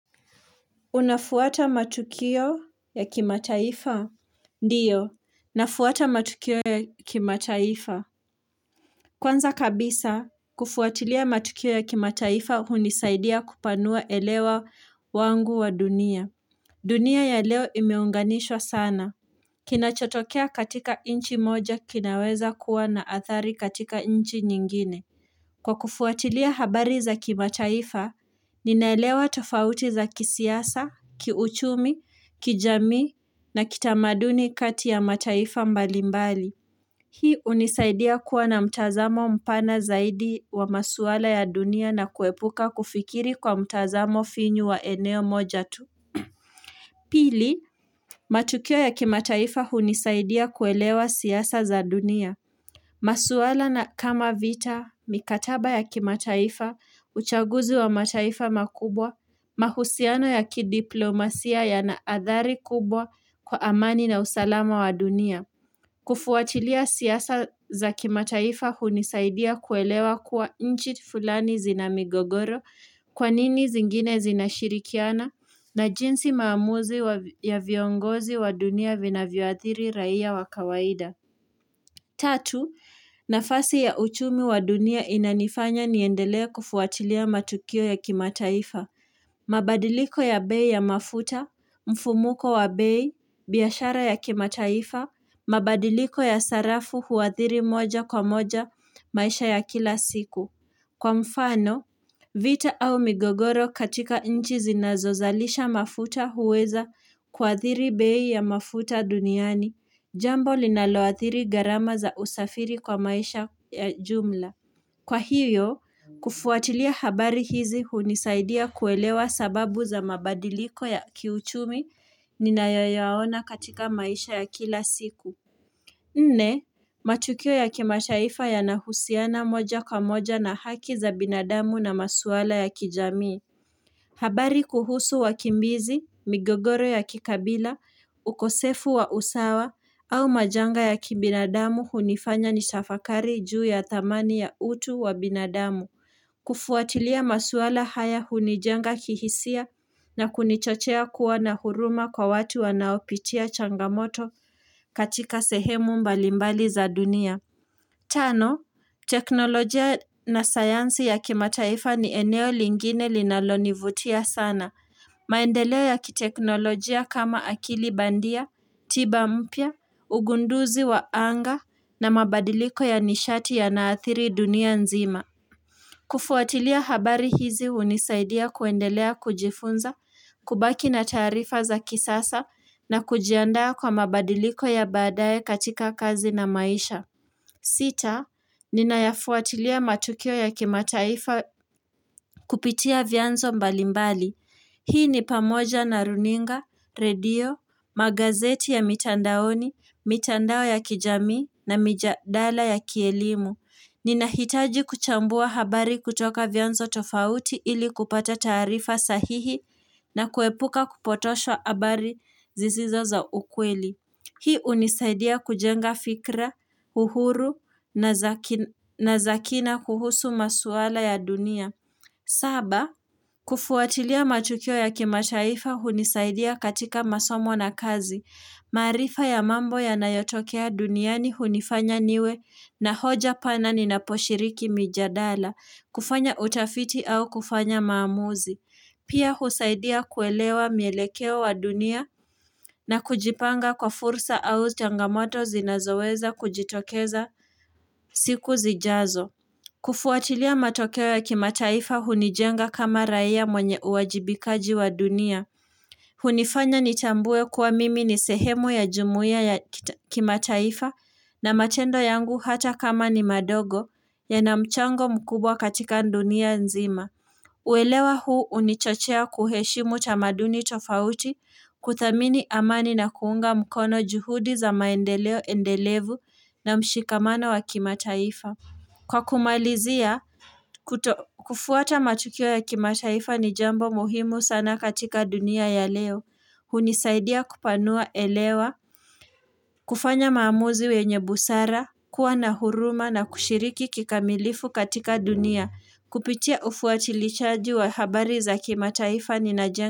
Unafuata matukio ya kimataifa? Ndiyo, nafuata matukio ya kimataifa. Kwanza kabisa, kufuatilia matukio ya kimataifa hunisaidia kupanua elewa wangu wa dunia. Dunia ya leo imeunganishwa sana. Kinachotokea katika nchi moja kinaweza kuwa na athari katika nchi nyingine. Kwa kufuatilia habari za kimataifa, ninaelewa tofauti za kisiasa, kiuchumi, kijamii, na kitamaduni kati ya mataifa mbalimbali. Hii hunisaidia kuwa na mtazamo mpana zaidi wa masuala ya dunia na kuepuka kufikiri kwa mtazamo finyu wa eneo moja tu. Pili, matukio ya kimataifa hunisaidia kuelewa siasa za dunia. Masuala na kama vita, mikataba ya kimataifa, uchaguzi wa mataifa makubwa, mahusiano ya kidiplomasia yana athari kubwa kwa amani na usalama wa dunia. Kufuatilia siasa za kimataifa hunisaidia kuelewa kuwa nchi fulani zina migogoro kwa nini zingine zinashirikiana na jinsi maamuzi ya viongozi wa dunia vinavyoathiri raia wa kawaida. Tatu, nafasi ya uchumi wa dunia inanifanya niendelee kufuatilia matukio ya kimataifa. Mabadiliko ya bei ya mafuta, mfumuko wa bei, biashara ya kimataifa, mabadiliko ya sarafu huathiri moja kwa moja maisha ya kila siku. Kwa mfano, vita au migogoro katika nchi zinazozalisha mafuta huweza kuathiri bei ya mafuta duniani, jambo linaloathiri gharama za usafiri kwa maisha ya jumla. Kwa hivyo, kufuatilia habari hizi hunisaidia kuelewa sababu za mabadiliko ya kiuchumi ninayoyaona katika maisha ya kila siku. Nne, matukio ya kimataifa yanahusiana moja kwa moja na haki za binadamu na maswala ya kijamii. Habari kuhusu wakimbizi, migogoro ya kikabila, ukosefu wa usawa, au majanga ya kibinadamu hunifanya nitafakari juu ya thamani ya utu wa binadamu. Kufuatilia maswala haya hunijenga kihisia na kunichochea kuwa na huruma kwa watu wanaopitia changamoto katika sehemu mbalimbali za dunia Tano, teknolojia na sayansi ya kimataifa ni eneo lingine linalonivutia sana maendeleo ya kiteknolojia kama akili bandia, tiba mpya, ugunduzi wa anga na mabadiliko ya nishati yanaathiri dunia nzima kufuatilia habari hizi hunisaidia kuendelea kujifunza, kubaki na taarifa za kisasa na kujiandaa kwa mabadiliko ya baadaye katika kazi na maisha. Sita, ninayafuatilia matukio ya kimataifa kupitia vyanzo mbalimbali. Hii ni pamoja na runinga, redio, magazeti ya mitandaoni, mitandao ya kijamii na mijadala ya kielimu. Ninahitaji kuchambua habari kutoka vyanzo tofauti ili kupata taarifa sahihi na kuepuka kupotosha habari zisizo za ukweli. Hii hunisaidia kujenga fikra, uhuru na za kina kuhusu masuala ya dunia. Saba, kufuatilia matukio ya kimataifa hunisaidia katika masomo na kazi. Maarifa ya mambo yanayotokea duniani hunifanya niwe na hoja pana ninaposhiriki mijadala, kufanya utafiti au kufanya maamuzi. Pia husaidia kuelewa mielekeo wa dunia na kujipanga kwa fursa au changamoto zinazoweza kujitokeza siku zijazo. Kufuatilia matokeo ya kimataifa hunijenga kama raia mwenye uwajibikaji wa dunia. Hunifanya nitambue kuwa mimi ni sehemu ya jumuia ya kimataifa na matendo yangu hata kama ni madogo yana mchango mkubwa katika dunia nzima. Uelewa huu hunichochea kuheshimu tamaduni tofauti kuthamini amani na kuunga mkono juhudi za maendeleo endelevu na mshikamano wa kimataifa. Kwa kumalizia kufuata matukio ya kimataifa ni jambo muhimu sana katika dunia ya leo hunisaidia kupanua elewa. Kufanya maamuzi wenye busara. Kuwa na huruma na kushiriki kikamilifu katika dunia. Kupitia ufuatilishaji wa habari za kimataifa ninajenga.